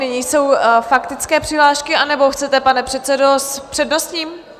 Nyní jsou faktické přihlášky - anebo chcete, pane předsedo, s přednostním?